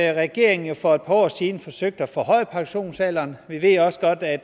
at regeringen for et par år siden forsøgte at forhøje pensionsalderen vi ved også at